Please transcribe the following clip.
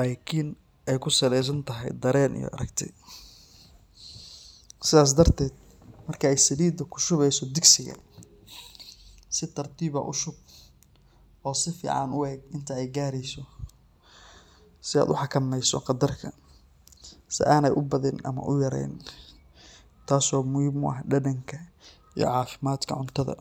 lakin ee kusamesantahay daren iyo arag sithas dareteed marki ee salida ku shuweyso digsiga si tartiib ah u shub oo firi inta ee gareyso saa u xakameyso qadarka si ana u badini ama u yareynin tas oo muhiim u ah dadnka iyo cuntadha.